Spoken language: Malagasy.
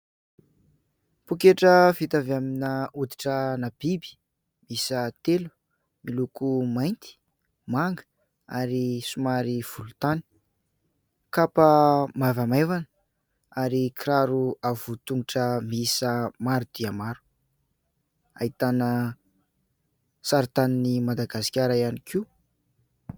Pôketra vita avy amina hoditrana biby miisa telo miloko mainty, manga ary somary volontany. Kapa maivamaivana ary kiraro avo tongotra miisa maro dia maro, ahitana sarintan'i Madagasikara ihany koa.